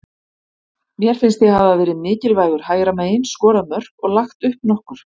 Mér finnst ég hafa verið mikilvægur hægra megin, skorað mörk og lagt upp nokkur.